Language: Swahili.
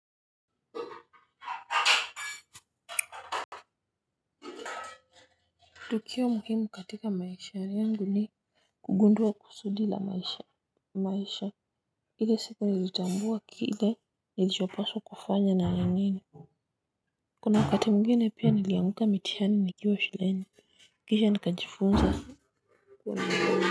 Tukio muhimu katika maisha yangu ni kugundua kusudi la maisha ile siku nilitambua kile nilichopaswa kufanya na wengine. Kuna wakati mwingine pia nilianguka mitihani nikiwa shuleni kisha nikajifunza.